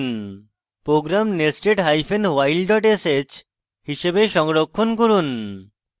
program nested hyphen while dot sh হিসাবে সংরক্ষণ করুন